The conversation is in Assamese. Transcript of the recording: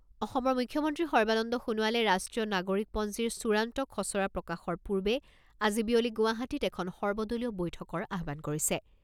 অসমৰ মুখ্যমন্ত্ৰী সৰ্বানন্দ সোণোৱালে ৰাষ্ট্ৰীয় নাগৰিকপঞ্জীৰ চূড়ান্ত খছৰা প্ৰকাশৰ পূৰ্বে আজি বিয়লি গুৱাহাটীত এখন সৰ্বদলীয় বৈঠকৰ আহ্বান কৰিছে।